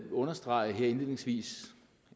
understrege her indledningsvis